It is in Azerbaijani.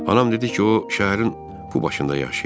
Anam dedi ki, o şəhərin bu başında yaşayır.